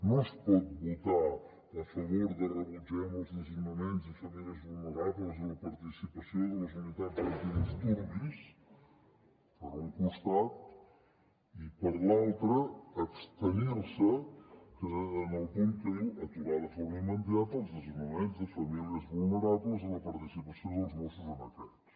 no es pot votar a favor de rebutgem els desnonaments de famílies vulnerables amb la participació de les unitats antidisturbis per un costat i per l’altre abstenir se en el punt que diu aturar de forma immediata els desnonaments de famílies vulnerables amb la participació dels mossos en aquests